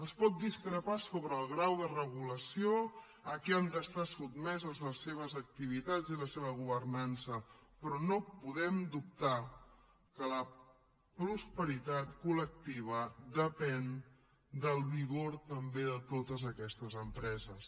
es pot discrepar sobre el grau de regulació a què han d’estar sotmeses les seves activitats i la seva governança però no podem dubtar que la prosperitat col·lectiva depèn del vigor també de totes aquestes empreses